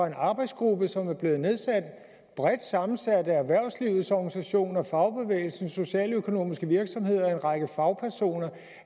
en arbejdsgruppe som blev nedsat og er bredt sammensat af erhvervslivets organisationer fagbevægelsen socialøkonomiske virksomheder og en række fagpersoner